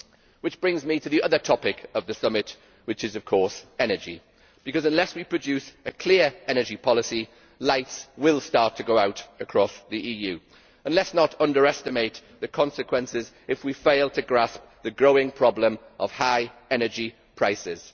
Which brings me to the other topic of the summit, namely energy, because unless we produce a clear energy policy, lights will start to go out right across the EU and let us not underestimate the consequences if we fail to grasp the growing problem of high energy prices.